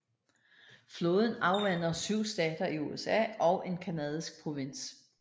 Floden afvander 7 stater i USA og en canadisk provins